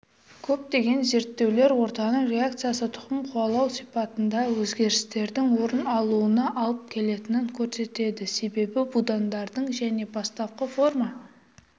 көптеген зерттеулер ортаның реакциясы тұқым қуалау сипатында өзгерістердің орын алуына алып келетінін көрсетеді себебі будандарының және бастапқы форма